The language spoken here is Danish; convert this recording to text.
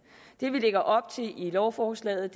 det vi lægger op til i lovforslaget